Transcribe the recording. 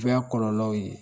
Bɛ ya kɔlɔlɔw ye